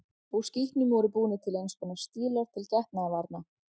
Úr skítnum voru búnir til eins konar stílar til getnaðarvarna.